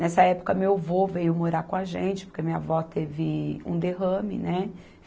Nessa época, meu vô veio morar com a gente, porque minha avó teve um derrame, né?